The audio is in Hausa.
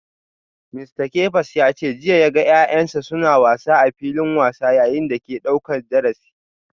Mista Kefas ya ce jiya ya ga ‘ya’yansa suna wasa a filin wasa yayin da ake daukar darasi.